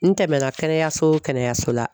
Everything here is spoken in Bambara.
N tɛmɛ na kɛnɛyaso o kɛnɛyaso la